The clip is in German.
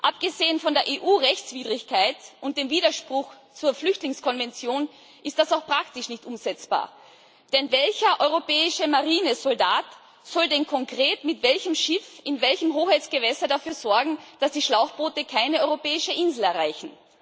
Abgesehen von der EU Rechtswidrigkeit und dem Widerspruch zur Flüchtlingskonvention ist das auch praktisch nicht umsetzbar Denn welcher europäische Marinesoldat soll denn konkret mit welchem Schiff in welchen Hoheitsgewässern dafür sorgen, dass die Schlauchboote keine europäische Insel erreichen?